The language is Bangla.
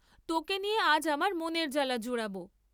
তোকে নিয়ে আজ আমার মনের জ্বালা জুড়াব।